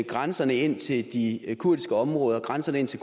grænserne ind til de kurdiske områder og grænserne ind til